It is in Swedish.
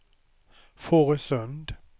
Fårösund